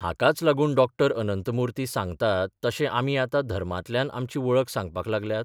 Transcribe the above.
हाकाच लागून डॉ अनंतमुर्ती सांगतात तशे आमी आतां धर्मातल्यान आमची वळख सांगपाक लागल्यात?